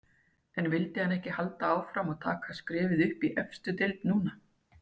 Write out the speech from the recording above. En vildi hann ekki halda áfram og taka skrefið upp í efstu deild núna?